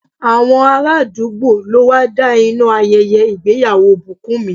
Àwọn ará àdúgbò ló wá da iná ayẹyẹ ìgbéyàwó Bukunmi.